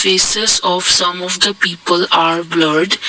faces of some of the people are blurred.